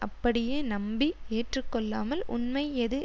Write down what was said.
அப்படியே நம்பி ஏற்று கொள்ளாமல் உண்மை எது